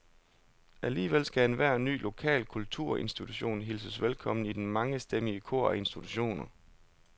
Alligevel skal enhver ny lokal kulturinstitution hilses velkommen i det mangestemmige kor af institutioner.